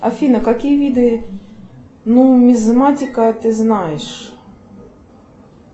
афина какие виды нумизматика ты знаешь